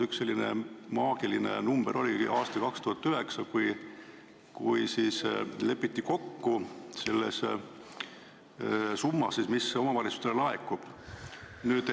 Üks selline maagiline aasta oli 2009, kui lepiti kokku selles summas, mis omavalitsustele laekub.